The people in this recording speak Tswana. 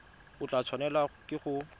o tla tshwanelwa ke go